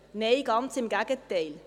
Nein, ganz im Gegenteil.